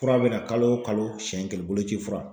Fura bɛ na kalo o kalo siyɛn kelen boloci fura.